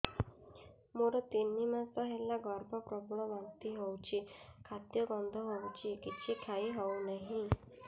ମୋର ତିନି ମାସ ହେଲା ଗର୍ଭ ପ୍ରବଳ ବାନ୍ତି ହଉଚି ଖାଦ୍ୟ ଗନ୍ଧ ହଉଚି କିଛି ଖାଇ ହଉନାହିଁ